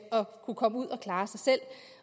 og kunne komme ud at klare sig selv